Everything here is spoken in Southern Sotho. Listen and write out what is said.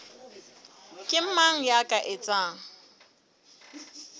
ke mang ya ka etsang